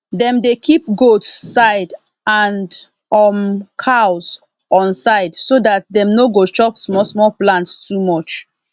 dem dey kip goats side and um cows on side so dat dem no go chop smalsmal plants too much